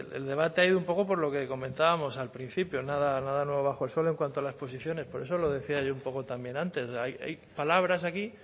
el debate ha ido un poco por lo que comentábamos al principio nada nada nuevo bajo el suelo en cuanto a las posiciones por eso lo decía yo un poco también antes hay palabras aquí